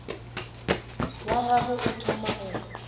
wa gagwe o thoma go